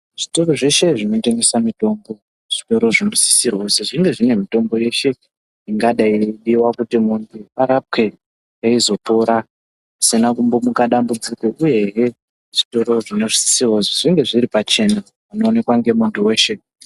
Zvitoro zveshe zvinotengesa mitombo, zvitoro zvinosisirwa kuzi zvinge zvine mitombo yeshe, ingadai yeidiwa kuti munhu arapwe ,eizopora ,kusina kumbomuka dambudziko, uyehe zvitoro zvinosisirwa kuzi zvinge zviri pachena ,panoonekwa ngemuntu weshe.